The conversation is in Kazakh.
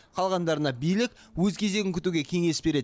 қалғандарына билік өз кезегін күтуге кеңес береді